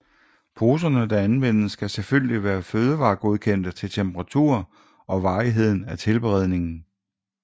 Poserne der anvendes skal selvfølgelig være fødevargodkendte til temperatur og varigheden af tilberedningen